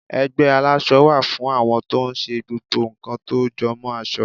ẹgbẹ àlásò wá fún àwọn to n ṣe gbogbo nkan tó jọ mo aso